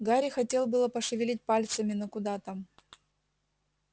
гарри хотел было пошевелить пальцами но куда там